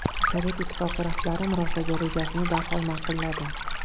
Sovet Ittifoqi rahbari murosaga rejasini darhol ma’qulladi.